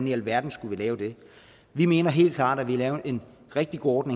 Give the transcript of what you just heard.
i alverden skulle vi lave det vi mener helt klart at vi lavet en rigtig god